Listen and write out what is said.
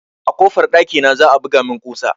A kofar dakina za a buga min kusa